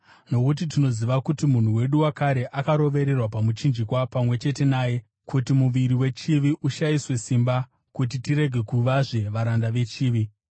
Nokuti tinoziva kuti munhu wedu wakare akarovererwa pamuchinjikwa pamwe chete naye kuti muviri wechivi ushayiswe simba, kuti tirege kuvazve varanda vechivi,